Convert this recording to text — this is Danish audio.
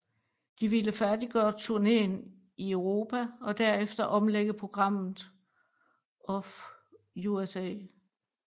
De ville færdiggøre turneen i Europa og derefter omlægge programmet of USA